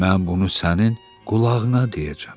Mən bunu sənin qulağına deyəcəm.